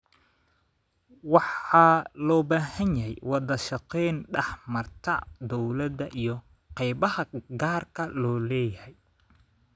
Waxa loo baahan yahay wada shaqayn dhex marta dawladda iyo qaybaha gaarka loo leeyahay.